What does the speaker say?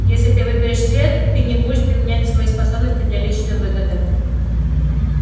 если ты выберешь свет ты не будешь применять свои способности для личной выгоды